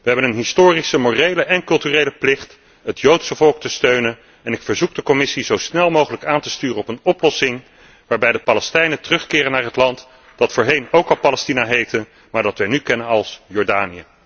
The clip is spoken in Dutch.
Wij hebben een historische, morele en culturele plicht het Joodse volk te steunen en ik verzoek de Commissie zo snel mogelijk aan te sturen op een oplossing waarbij de Palestijnen terugkeren naar het land dat voorheen ook al Palestina heette, maar dat wij nu kennen als Jordanië.